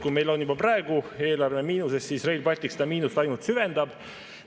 Kui meil on juba praegu eelarve miinuses, siis Rail Baltic seda miinust ainult süvendab.